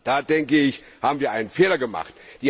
Da, denke ich, haben wir einen Fehler gemacht.